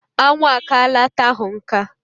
Anwụ akaala ata ahụ nka.